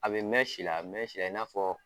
A bɛ mɛn si la , a bɛ mɛn si la i n'a fɔ